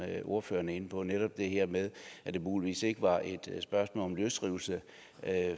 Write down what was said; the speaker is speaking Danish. ordføreren er inde på netop det her med at det muligvis ikke var et spørgsmål om løsrivelse